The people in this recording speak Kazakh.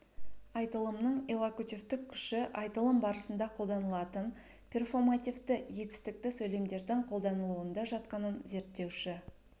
айтылымның иллокутивтік күші айтылым барысында қолданылатын перфомативті етістікті сөйлемдердің қолдануында жатқанын зерттеуші